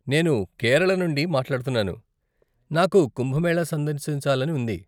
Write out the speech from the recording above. నేను కేరళ నుండి మాట్లాడుతున్నాను, నాకు కుంభమేళా సందర్శించాలని ఉంది.